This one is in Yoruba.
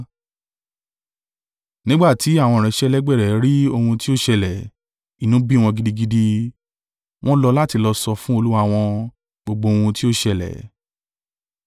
Nígbà tí àwọn ìránṣẹ́ ẹlẹgbẹ́ rẹ̀ rí ohun tí ó ṣẹlẹ̀, inú bí wọn gidigidi, wọ́n lọ láti lọ sọ fún olúwa wọn, gbogbo ohun tí ó ṣẹlẹ̀.